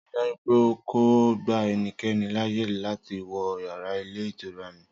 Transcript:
Rii daju pe o ko gba ẹnikẹni laaye lati wọ yara ilé ìtura mi!